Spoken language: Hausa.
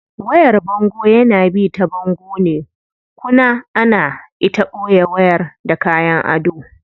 Wayar bango yana bi ta bango ne kuna ana ita boye wayar da kayan ado.